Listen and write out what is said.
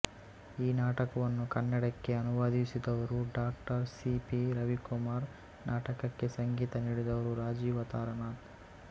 ಈ ನಾಟಕವನ್ನು ಕನ್ನಡಕ್ಕೆ ಅನುವಾದಿಸಿದವರು ಡಾ ಸಿ ಪಿ ರವಿಕುಮಾರ್ ನಾಟಕಕ್ಕೆ ಸಂಗೀತ ನೀಡಿದವರು ರಾಜೀವ ತಾರಾನಾಥ್